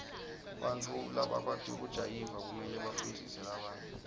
bantfu labakwati kujayiva kumele bafundzise labanye